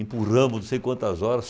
Empurramos, não sei quantas horas.